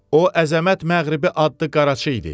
O əzəmət məğribi adlı qaraçı idi.